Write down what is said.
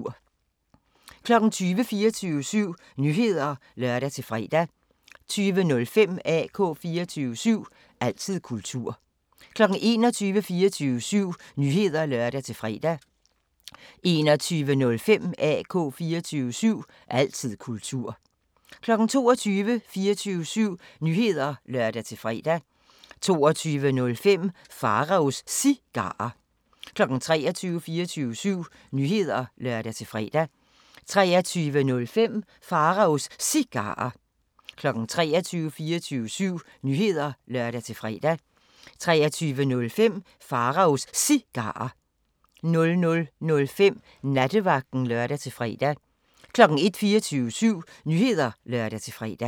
20:00: 24syv Nyheder (lør-fre) 20:05: AK 24syv – altid kultur 21:00: 24syv Nyheder (lør-fre) 21:05: AK 24syv – altid kultur 22:00: 24syv Nyheder (lør-fre) 22:05: Pharaos Cigarer 23:00: 24syv Nyheder (lør-fre) 23:05: Pharaos Cigarer 00:05: Nattevagten (lør-fre) 01:00: 24syv Nyheder (lør-fre)